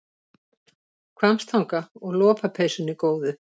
Hvammstanga og lopapeysunni góðu.